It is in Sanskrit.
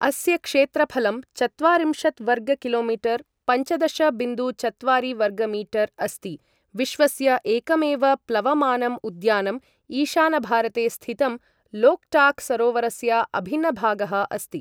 अस्य क्षेत्रफलं चत्वारिंशत् वर्ग किलो मीटर् पञ्चदश बिन्दु चत्वारि वर्गमीटर् अस्ति, विश्वस्य एकमेव प्लवमानं उद्यानम्, ईशानभारते स्थितं लोक्टाक् सरोवरस्य अभिन्नभागः अस्ति।